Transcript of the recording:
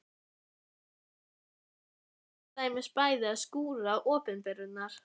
Eftir messu þarf ég til dæmis bæði að skúra opinberunar